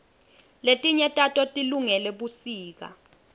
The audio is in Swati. letinye tato tilungele busika